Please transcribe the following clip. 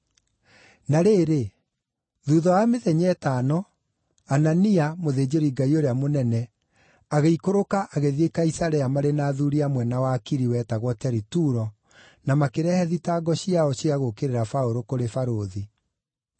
Na rĩrĩ, thuutha wa mĩthenya ĩtano, Anania, mũthĩnjĩri-Ngai ũrĩa mũnene, agĩikũrũka agĩthiĩ Kaisarea marĩ na athuuri amwe na wakiri wetagwo Teritulo, na makĩrehe thitango ciao cia gũũkĩrĩra Paũlũ kũrĩ barũthi.